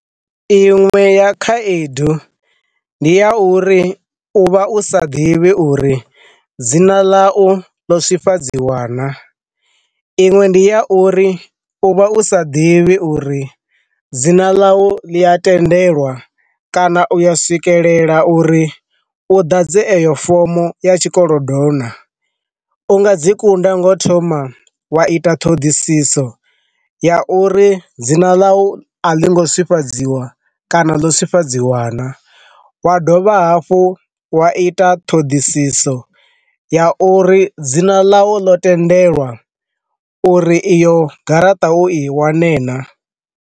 Iṅwe ya khaedu, ndi ya uri uvha u sa ḓivhi uri dzina ḽa u ḽo swifhadziwa na, iṅwe ndi ya uri uvha u sa ḓivhi uri dzina ḽa u ḽi a tendelwa kana u ya swikelela uri u dadze eyo fomo ya tshikolodo na, u nga dzi kunda ngo thoma wa ita ṱhoḓisiso ya uri dzina ḽa u a ḽi ngo swifhadziwa kana ḽo swifhadziwa na, wa dovha hafhu wa ita ṱhoḓisiso ya uri dzina ḽa u ḽo tendelwa uri iyo garaṱa u i wane na.